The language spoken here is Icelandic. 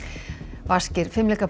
vaskir